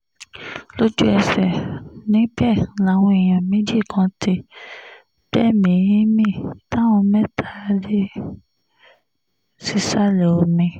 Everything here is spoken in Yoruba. lójú-ẹsẹ̀ níbẹ̀ làwọn èèyàn méjì kan ti gbẹ̀mí-ín mi táwọn mẹ́ta rí sísàlẹ̀ omi